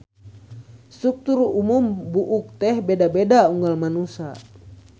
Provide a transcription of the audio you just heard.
Struktur umum buuk teh beda-beda unggal manusa.